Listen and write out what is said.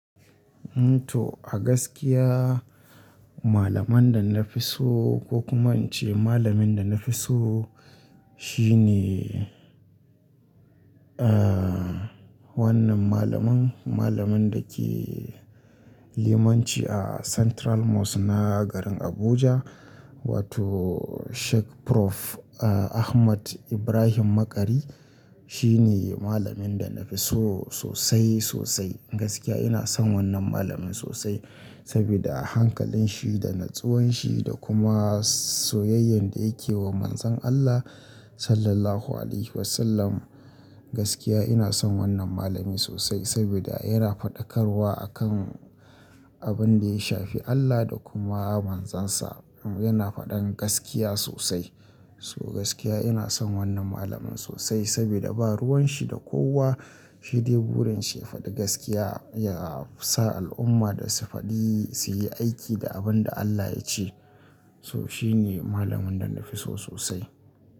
To a gaskiya malaman da na fi so ko kuma in ce malamin da na fi so shi ne, aa wannan malamin, malamin da ke limanci a Central Mosque na garin Abuja wato Shek Prof Ahmad Ibrahim Makari. Shi ne malamin da na fi so sosai sosai. Gaskiya ina son wannan malamin sosai sabida hankalin shi da natsuwan shi da kuma soyayyan da yake wa Manzon Allah Sallallahu Alaihi Wasallam. Gaskiya ina son wannan malami sosai sabida yana faɗakarwa akan abin da ya shafi Allah da kuma Manzon Sa. Yana faɗan gaskiya sosai. So gaskiya ina son wannan malamin sosai sabida ba ruwan shi da kowa. Shi dai burin shi ya faɗi gaskiya, ya sa al'umma da su faɗi, su yi aiki da abin da Allah ya ce. So shi ne malamin da na fi so sosai.